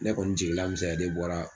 Ne kɔni jigi lamisɛnya de bɔra